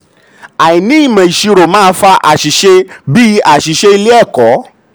àìní ìmọ̀ ìṣirò máa fa àṣìṣe bíi aṣìṣe ilé-ẹ̀kọ́.